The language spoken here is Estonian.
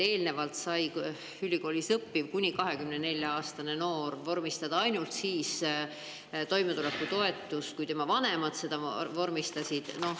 Eelnevalt sai ülikoolis õppiv kuni 24-aastane noor toimetulekutoetust ainult siis, kui tema vanemad selle vormistasid.